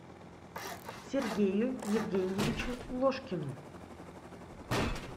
сергею евгеньевичу ложкину